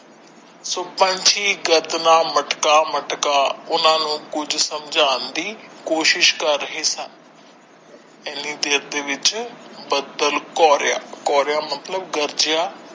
ਸੋ ਪੰਛੀ ਗਰਦਨਾਂ ਮਟਕਾ ਮਟਕਾ ਉਹਨਾਂ ਨੂੰ ਕੁਝ ਸਮਝਾਣ ਦੀ ਕੋਸ਼ਿਸ਼ ਕਰ ਰਹੇ ਸਨ ਇਹਨੀ ਦੇਰ ਦੇ ਵਿੱਚ ਬੱਦਲ ਕੋਰੀਆ, ਕੋਰੀਆ ਮਤਲਬ ਗਰਜਿਆ।